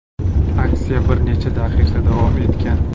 Aksiya bir necha daqiqa davom etgan.